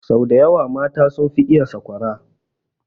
Sau daya wa mata sun fi iya sakwara